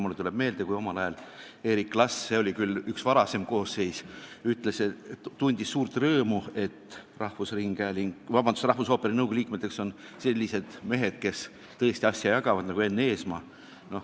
Mulle tuleb meelde, et Eri Klas tundis omal ajal suurt rõõmu – see oli muidugi üks varasem koosseis –, et rahvusooperi nõukogu liikmeteks on sellised mehed, kes tõesti asja jagavad, nagu Enn Eesmaa.